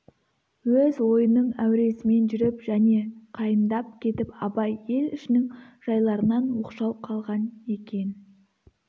өз ойының әуресімен жүріп және қайындап кетіп абай ел ішінің жайларынан оқшау қалған екен